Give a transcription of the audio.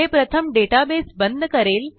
हे प्रथम डेटाबेस बंद करेल